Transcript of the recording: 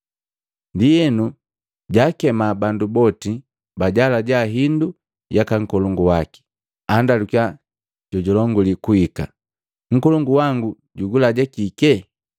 Ndienu jaakema bandu boti bajaalaja hindu yaka nkolongu waki. Andalukiya jojalonguli kuhika ‘Nkolongu wangu jugulaja kike?’